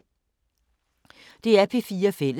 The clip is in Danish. DR P4 Fælles